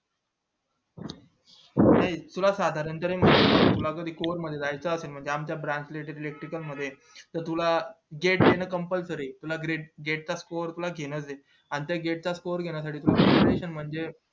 नाही तुला साधारण पाने score मध्ये पण जायचं असेल म्हणजे आमच्या branch च्या electrician मध्ये तर तुला देणं compulsory जरुरीचं तुला गेट चा सोकर पल्स घेणं आणि त्या गेट चा सोकर घेणं तुला म्हणजे